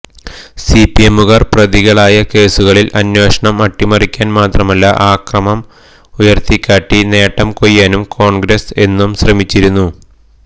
സിപിഎമ്മുകാര് പ്രതികളായ കേസുകളില് അന്വേഷണം അട്ടിമറിക്കാന് മാത്രമല്ല അക്രമം ഉയര്ത്തിക്കാട്ടി നേട്ടം കൊയ്യാനും കോണ്ഗ്രസ്സ് എന്നും ശ്രമിച്ചിരുന്നു